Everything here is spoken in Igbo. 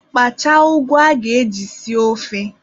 Kpachaa ụgụ a ga-eji sie ofe.